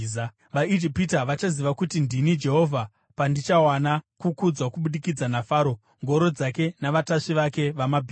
VaIjipita vachaziva kuti ndini Jehovha pandichawana kukudzwa kubudikidza naFaro, ngoro dzake navatasvi vake vamabhiza.”